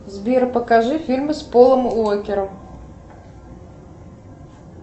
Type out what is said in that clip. сбер покажи фильмы с полом уокером